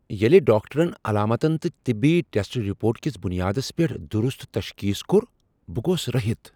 ییٚلہ ڈاکٹرن علاماتن تہٕ طبی ٹیسٹ رپوٹ کس بنیادس پیٹھ درست تشخیص کو٘ر ، بہٕ گوس رہِتھ ۔